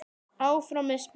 Áfram er spurt.